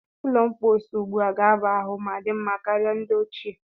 Ụlọ mposi ugbua ga-aba ahụ ma dị mma karịa ndi ochie.